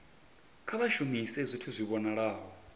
kha vha shumise zwithu zwi vhonalaho